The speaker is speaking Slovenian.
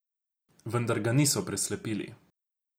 Vendar ga niso preslepili.